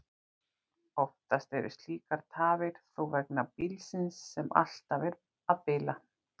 Oftar eru slíkar tafir þó vegna bílsins, sem alltaf er að bila.